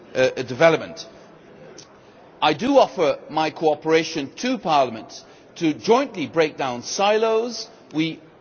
I offer my cooperation to Parliament to jointly break down silos. We both have that problem still today.